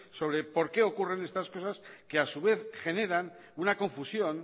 sobre por qué ocurren estas cosas que a su vez generan una confusión